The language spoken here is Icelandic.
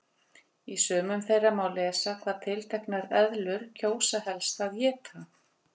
Í sumum þeirra má lesa hvað tilteknar eðlur kjósa helst að éta.